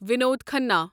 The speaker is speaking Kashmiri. ونود کھنا